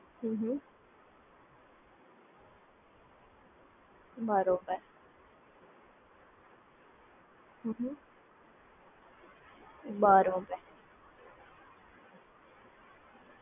બરોબર આ બંને application હોય તો મારે બંને application માં Account એક જ હોય ધારો કે SBI માં જે હોવું જોઈએ કે બોઓબિ હોવું જોઈએ?